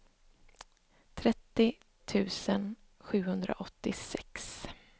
trettio tusen sjuhundraåttiosex